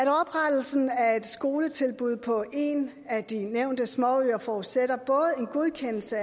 at oprettelsen af et skoletilbud på en af de nævnte småøer forudsætter både en godkendelse